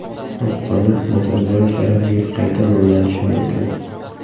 Ostona Nazarboyev sharafiga qayta nomlanishi mumkin.